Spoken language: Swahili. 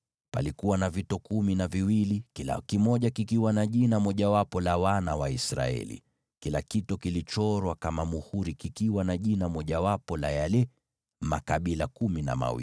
Palikuwa na vito kumi na viwili, kila kimoja kikiwa na jina mojawapo la wana wa Israeli; kila kimoja kilichorwa kama muhuri kikiwa na jina mojawapo la yale makabila kumi na mawili.